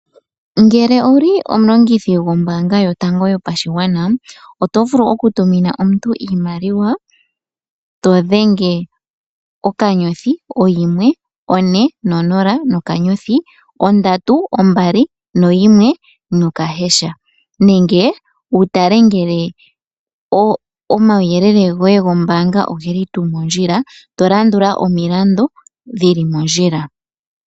Ngele owuli omulongithi gwombaanga yotango yopashigwana otovulu okutumina omuntu iimaliwa *149*321# nenge wutale ngele omawuyelele ogeli mondjila tolandula omiyalu dhili mondjila.